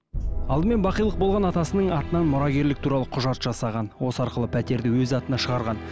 алдымен бақилық болған атасының атынан мұрагерлік туралы құжат жасаған осы арқылы пәтерді өз атына шығарған